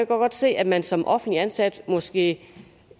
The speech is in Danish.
godt se at man som offentligt ansat måske